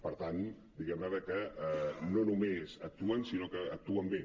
per tant diguem·ne de que no només actuen sinó que actuen bé